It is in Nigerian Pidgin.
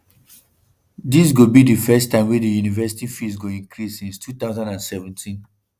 dis go be di first time wey di university fees go increase since 2017.